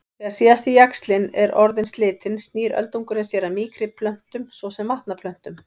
Þegar síðasti jaxlinn er orðinn slitinn snýr öldungurinn sér að mýkri plöntum svo sem vatnaplöntum.